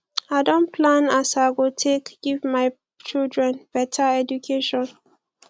i don plan as i go take give my children beta education